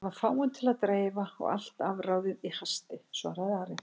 Það var fáum til að dreifa og allt afráðið í hasti, svaraði Ari.